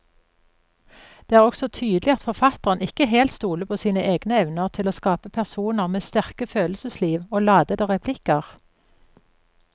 Det er også tydelig at forfatteren ikke helt stoler på sine egne evner til å skape personer med sterke følelsesliv og ladete replikker.